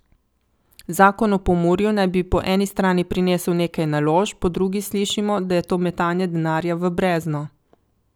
Zakon o Pomurju naj bi po eni strani prinesel nekaj naložb, po drugi slišimo, da je to metanje denarja v brezno.